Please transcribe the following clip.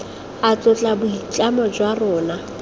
a tlotla boitlamo jwa rona